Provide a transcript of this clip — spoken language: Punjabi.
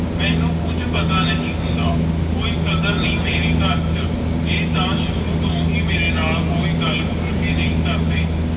ਮੇਨੂ ਕੁਜ ਪਤਾ ਨਹੀਂ ਹੋਂਦ ਕੋਈ ਕਾਦਰ ਨਹੀਂ ਮੇਰੀ ਕਰ ਚ ਆਈ ਤਾ ਸ਼ੁਰੂ ਤੂੰ ਹੈ ਕੋਈ ਗੱਲ ਮੇਰੇ ਨਾਲ ਖੁਲ ਕਰ ਨਹੀਂ ਕਰਦੇ